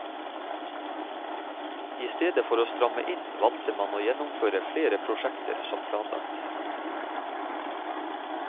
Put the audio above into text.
I stedet for å stramme inn, valgte man å gjennomføre flere prosjekter som planlagt.